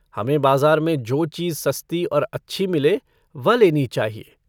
हमें बाजार में जो चीज सस्ती और अच्छी मिले वह लेनी चाहिए।